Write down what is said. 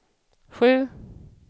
sju